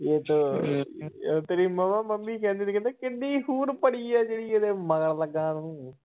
. ਤੇਰੀ ਮਾਮਾ ਮੰਮੀ ਕਹਿੰਦੀ ਹੁੰਦੀ ਸੀ ਕਿੰਨੀ ਹੂਰ ਪਰੀ ਆ ਜਿਹੜੀ ਇਹਦੇ ਮਗਰ ਲੱਗਾ ਤੂੰ।